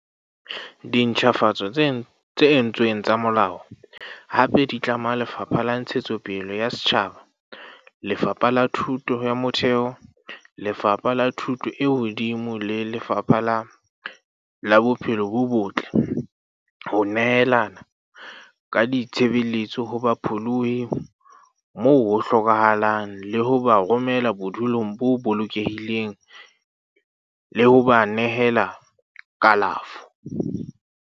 Dintjhafatso tse entsweng tsa molao hape di tlama Lefapha la Ntshetsopele ya Setjhaba, Lefapha la Thuto ya Motheo, Lefapha la Thuto e Hodimo le Lefapha la Bophelo bo Botle ho nehelana ka ditshebeletso ho bapholohi moo ho hlokahalang le ho ba romela bodulong bo bolokehileng le ho ba nehela kalafo.